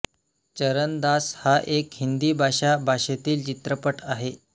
चरनदास हा एक हिंदी भाषा भाषेतील चित्रपट आहे